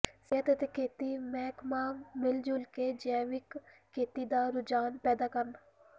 ਸਿਹਤ ਅਤੇ ਖੇਤੀ ਮਹਿਕਮਾ ਮਿਲਜੁਲ ਕੇ ਜੈਵਿਕ ਖੇਤੀ ਦਾ ਰੁਝਾਨ ਪੈਦਾ ਕਰਨ